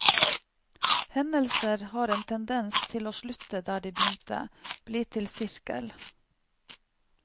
Hendelser har en tendens til å slutte der de begynte, bli til sirkel.